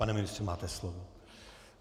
Pane ministře, máte slovo.